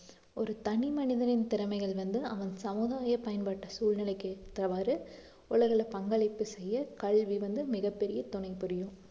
ஒரு தனி மனிதனின் திறமைகள் வந்து அவன் சமுதாய பயன்பாட்டு சூழ்நிலைக்கு ஏற்றவாறு உலகிலே பங்களிப்பு செய்ய கல்வி வந்து மிகப்பெரிய துணை புரியும்